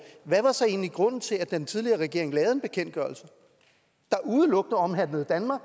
hvad var så egentlig grunden til at den tidligere regering lavede en bekendtgørelse der udelukkende omhandlede danmark